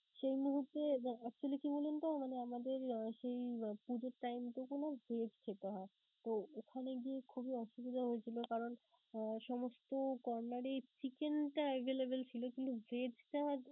সেই মুহূর্তে বা actually কি বলুনতো মানে আমাদের সেই পূজোর time টুকু না vegg খেতে হয়, তো ওখানে গিয়ে খুবই অসুবিধা হয়েছিলো. কারণ সমস্ত corner এই chicken টা available ছিলো কিন্তু vegg টা